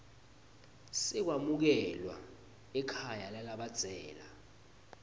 sekwamukelwa ekhaya lalabadzela